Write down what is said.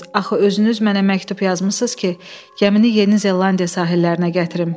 Axı özünüz mənə məktub yazmısınız ki, gəmini Yeni Zelandiya sahillərinə gətirim.